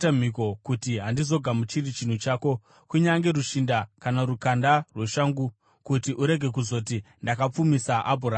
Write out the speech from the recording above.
kuti handizogamuchiri chinhu chako, kunyange rushinda kana rukanda rweshangu, kuti urege kuzoti, ‘Ndakapfumisa Abhurama.’